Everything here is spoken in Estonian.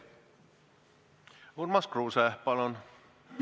Urmas Kruuse, palun!